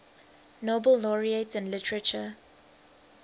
nobel laureates in literature